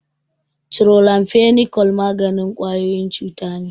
Chloramphenicol maganin ƙwayoyin cuta ne.